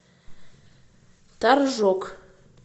торжок